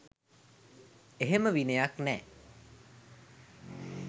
එහෙම විනයක් නෑ